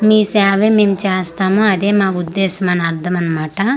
మీ సేవే మేము చేస్తాము అదే మా ఉద్దేశమని అర్ధమన్మాట.